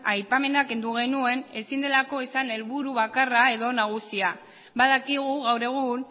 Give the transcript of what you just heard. aipamena kendu genuen ezin delako izan helburu bakarra edo nagusia badakigu gaur egun